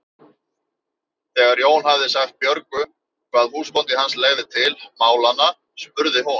Þegar Jón hafði sagt Björgu hvað húsbóndi hans legði til málanna spurði hún